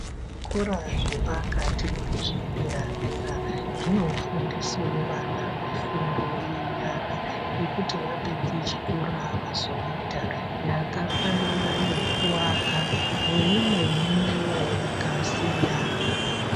Zvikora zvepakati nezvedera dera zvinofundisewo vana mifundo yenyara yekuti vapedze chikora vazoita yakafanana nekuaka neimweniwo yakasiyana.